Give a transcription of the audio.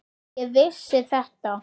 Ég vissi þetta!